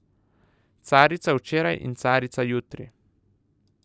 Carica včeraj in Carica jutri.